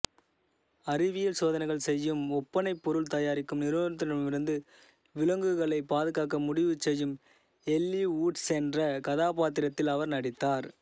அறிவியல் சோதனைகள் செய்யும் ஒப்பனைப்பொருள் தயாரிக்கும் நிறுவனத்திடமிருந்து விலங்குகளைப் பாதுகாக்க முடிவுசெய்யும் எல்லீ ஊட்ஸ் என்ற கதாப்பாத்திரத்தில் அவர் நடித்தார்